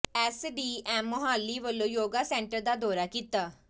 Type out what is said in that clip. S D M Mohali ਵਲੋਂ yoga centre ਦਾ ਦੌਰਾ ਕੀਤਾ